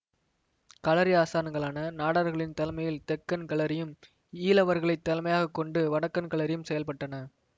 களரி ஆசான்களான நாடார்களின் தலைமையில் தெக்கன் களரியும் ஈழவர்களைத் தலைமையாகக் கொண்டு வடக்கன் களரியும் செயல்பட்டன